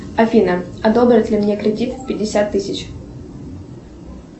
афина одобрят ли мне кредит пятьдесят тысяч